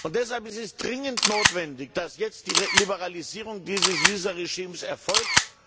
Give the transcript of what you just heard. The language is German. Deshalb ist es dringend notwendig, dass jetzt die Liberalisierung dieses Visaregimes erfolgt.